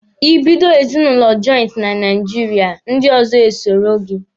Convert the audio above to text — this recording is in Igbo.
Ị bido ezinụlọ jọịntị na Naijiria, ndị ọzọ e soro gị.